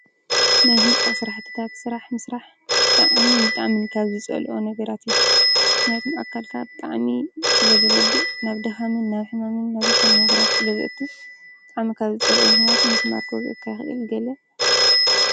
ናይ ህንፃ ስራሕቲታት ስራሕ ምስራሕ ብጣዕምን ብጣዕንም ካብ ዝፀልኦ ነገራት እዩ ምክንያቱም ኣካልካ ብጣዕሚ ስለ ዝጎድእ ናብ ድካምን ናብ ሕማምን ናብ ዘይኮነ ነገራት ስለ ዝእቱ ብጣዕሚ ካብ ዝፀልኦ እዩ ምክንያቱ ምምስማር ክወግአካ ይክእል። ገለ...